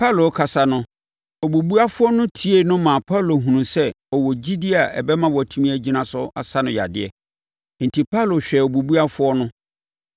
Paulo rekasa no, obubuafoɔ no tiee no maa Paulo hunuu sɛ ɔwɔ gyidie a ɛbɛma watumi agyina so asa no yadeɛ. Enti Paulo hwɛɛ obubuafoɔ no